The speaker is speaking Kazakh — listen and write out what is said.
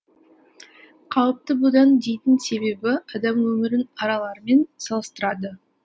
қауіпті будан дейтін себебі адам өмірін аралармен салыстырады